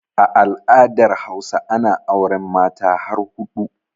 A al'adar Hausa ana auren Mata har huɗu